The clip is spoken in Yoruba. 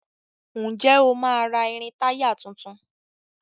Ǹjẹ́ o máa ra irin-táyà tuntun?